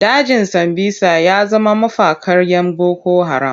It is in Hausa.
Dajin Sambisa ya zama mafakar 'yan boko haram.